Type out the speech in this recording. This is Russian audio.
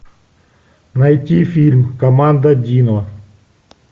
найти фильм команда дино